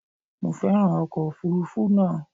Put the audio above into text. Mo féràn ọkọ̀ òfuurufú náà.